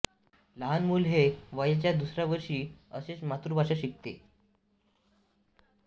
लहान मुल हे वयाच्या दुसऱ्या वर्षी असेच मातृभाषा शिकते